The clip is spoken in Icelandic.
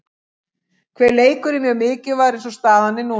Hver leikur er mjög mikilvægur eins og staðan er núna.